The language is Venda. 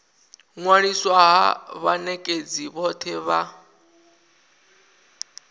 ṅwaliswa ha vhanekedzi vhothe vha